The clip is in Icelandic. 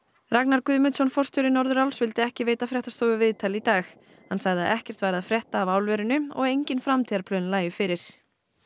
Ragnar Guðmundsson forstjóri Norðuráls vildi ekki veita fréttastofu viðtal í dag hann sagði að ekkert væri að frétta af álverinu og engin framtíðarplön lægju fyrir